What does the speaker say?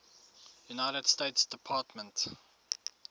united states department